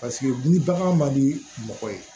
Paseke ni bagan man di mɔgɔ ye